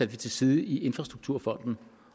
til side i infrastrukturfonden